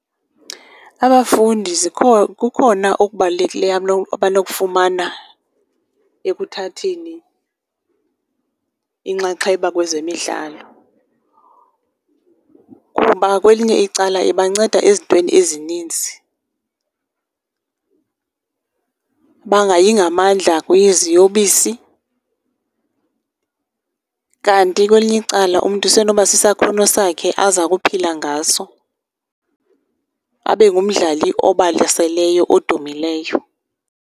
Abafundi kukhona okubalulekileyo abanokufumana ekuthatheni inxaxheba kwezemidlalo, kuba kwelinye icala ibanceda ezintweni ezininzi. Bangayi ngamandla kwiziyobisi kanti kwelinye icala umntu isenoba sisakhono sakhe aza kuphila ngaso, abe ngumdlali obalaseleyo, odumileyo.